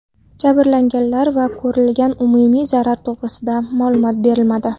Jabrlanganlar va ko‘rilgan umumiy zarar to‘g‘risida ma’lumot berilmadi.